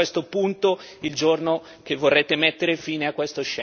Presidente Draghi, l'Europa non appartiene né a lei, né alla BCE.